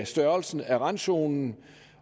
størrelsen af randzonen